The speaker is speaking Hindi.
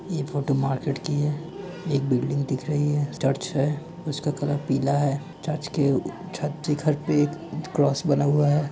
ई फोटो मार्केट की है एक बिल्डिंग दिख रही है चर्च है उसके कलर पीला है चर्च के उः के घर पे एक क्रोस बना हुआ है।